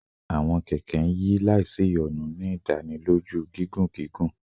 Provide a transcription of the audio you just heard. Awọn kẹkẹ n yi laisiyonu, ni idaniloju gigun gigun